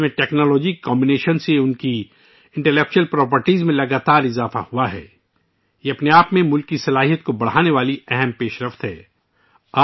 technology کے امتزاج کے ذریعے ، ان کی دانشورانہ خصوصیات میں مسلسل اضافہ یہ اپنے آپ میں ملک کی صلاحیت کو بڑھانے میں پیش رفت کا ایک اہم پہلو ہے